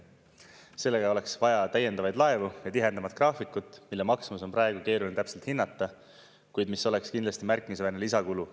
Sellega oleks vaja täiendavaid laevu ja tihedamat graafikut, mille maksumust on praegu keeruline täpselt hinnata, kuid mis oleks kindlasti märkimisväärne lisakulu.